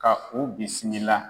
Ka u bisimila.